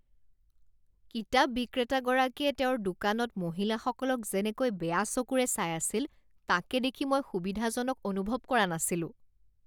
কিতাপ বিক্ৰেতাগৰাকীয়ে তেওঁৰ দোকানত মহিলাসকলক যেনেকৈ বেয়া চকুৰে চাই আছিল তাকে দেখি মই সুবিধাজনক অনুভৱ কৰা নাছিলোঁ।